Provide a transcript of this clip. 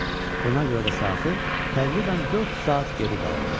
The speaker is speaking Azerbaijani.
Buna görə də saatı təqribən dörd saat geri qalırdı.